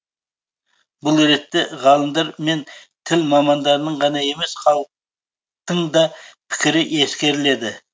бұл ретте ғалымдар мен тіл мамандарының ғана емес халық тың да пікірі ескеріледі